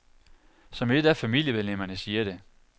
Som et af familiemedlemmerne siger det.